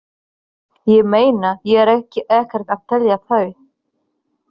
Ég meina, ég er ekkert að telja þá.